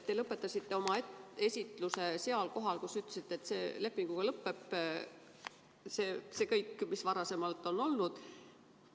Te lõpetasite oma esitluse seal kohal, kus te ütlesite, et lepinguga lõpeb see kõik, mis varasemalt on olnud.